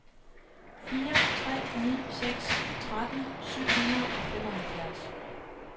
fire tre ni seks tretten syv hundrede og femoghalvfjerds